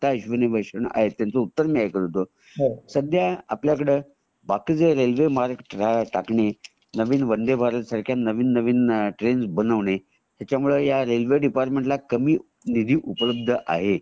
आता अश्विनी वैष्णव आहेत त्यांच एक उत्तर मी ऐकलं होता सगळ्या आपल्याकडे जे रेल्वे ट्रॅक टाकणे नवीन वंदे भारत सारख्या नवीन नवीन ट्रेनस बनवणे त्याचमुळे ह्या रेल्वे डिपार्टमेंट ला कामी निधी उपलब्ध आहे